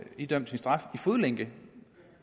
idømt sin straf i fodlænke